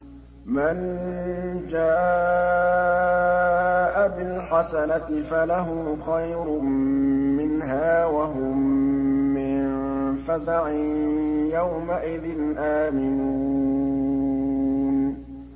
مَن جَاءَ بِالْحَسَنَةِ فَلَهُ خَيْرٌ مِّنْهَا وَهُم مِّن فَزَعٍ يَوْمَئِذٍ آمِنُونَ